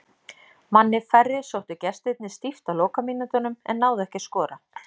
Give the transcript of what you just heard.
Manni færri sóttu gestirnir stíft á lokamínútunum en náðu ekki að skora.